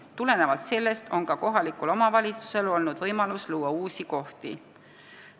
Tulenevalt sellest on ka kohalikul omavalitsusel olnud võimalus luua uusi kohti.